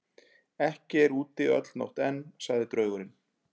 Ekki er úti öll nótt enn, sagði draugurinn.